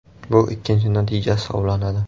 Bu ikkinchi natija hisoblanadi.